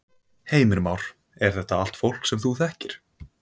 Heimir Már: Er þetta allt fólk sem þú þekkir?